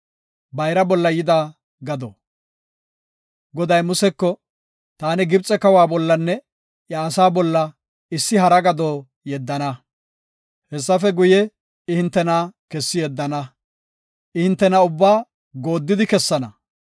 Goday Museko, “Taani Gibxe kawa bollanne iya asaa bolla issi hara gado yeddana. Hessafe guye, I hintena kessi yeddana. I hintena ubbaa gooddidi kessana.